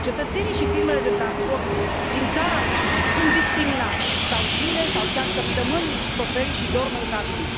Cetățenii și firmele de transport din țara mea sunt discriminate, stau zile sau chiar săptămâni șoferii și dorm în cabină.